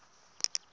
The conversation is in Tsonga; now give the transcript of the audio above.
yena a a nga swi